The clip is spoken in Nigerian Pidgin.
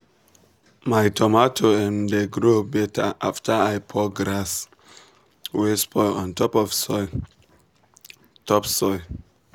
my tomato um dey grow better after i pour grass wey spoil on top soil. top soil.